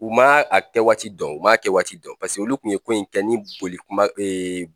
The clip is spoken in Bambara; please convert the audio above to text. U ma a kɛ waati dɔn u ma a kɛ waati dɔn paseke olu kun ye ko in kɛ ni boli kuma